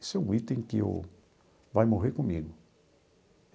Isso é um item que eu vai morrer comigo.